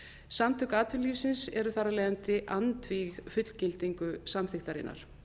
samtök atvinnulífsins eru þar af leiðandi andvíg fullgildingu samþykktarinnar